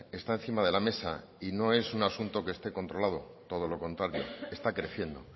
está encima de la mesa y no es un asunto que esté controlado todo lo contrario está creciendo